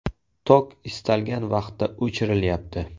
Tok istalgan vaqtda o‘chirilyapti.